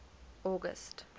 august